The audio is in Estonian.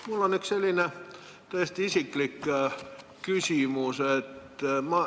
Mul on üks selline täiesti isiklik küsimus.